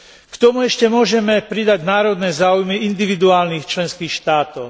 K tomu ešte môžeme pridať národné záujmy individuálnych členských štátov.